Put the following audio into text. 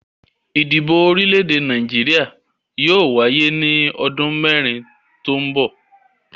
Ìdìbò orílẹ̀-èdè Nàìjíríà yóò wáyé ní ọdún mẹ́rin tó ń bọ̀.